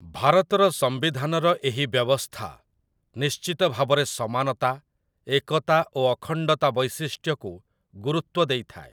ଭାରତର ସମ୍ବିଧାନର ଏହି ବ୍ୟବସ୍ଥା ନିଶ୍ଚିତଭାବରେ ସମାନତା, ଏକତା ଓ ଅଖଣ୍ଡତା ବୈଶିଷ୍ଟ୍ୟକୁ ଗୁରୁତ୍ୱ ଦେଇଥାଏ।